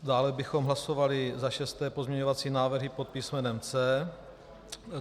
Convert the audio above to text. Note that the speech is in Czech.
Dále bychom hlasovali za šesté pozměňovací návrhy pod písmenem C.